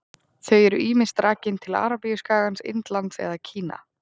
Þau eru ýmist rakin til Arabíuskagans, Indlands eða Kína.